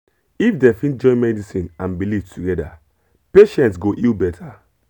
if dem fit join medicine and belief together patients go heal better